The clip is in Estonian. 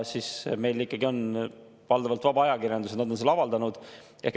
Meil on ikkagi valdavalt vaba ajakirjandus ja nad on selle avaldanud.